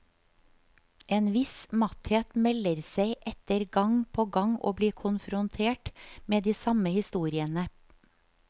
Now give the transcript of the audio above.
En viss matthet melder seg etter gang på gang å bli konfrontert med de samme historiene.